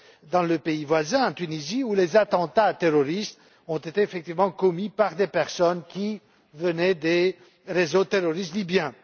dans le pays voisin, la Tunisie, où les attentats terroristes ont été effectivement commis par des personnes qui venaient des réseaux terroristes libyens.